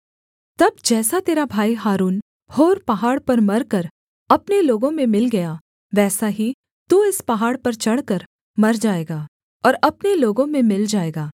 तब जैसा तेरा भाई हारून होर पहाड़ पर मरकर अपने लोगों में मिल गया वैसा ही तू इस पहाड़ पर चढ़कर मर जाएगा और अपने लोगों में मिल जाएगा